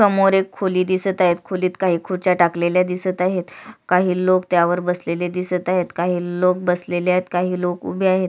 समोर एक खोली दिसत आहे खोलीत काही खुर्च्या टाकलेल्या दिसत आहेत काही लोक त्यावर बसलेले दिसत आहेत काही लोक बसलेले आहेत काही लोक उभे आहेत.